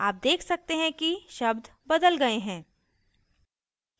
आप देख सकते हैं कि शब्द बदल गए हैं